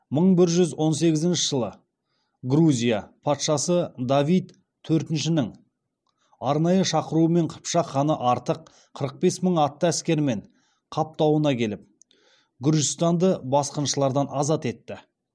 мың бір жүз он сегізінші жылы грузия патшасы давид төртіншінің арнайы шақыруымен қыпшақ ханы артық қырық бес мың атты әскермен қап тауына келіп гүржістанды басқыншылардан азат етті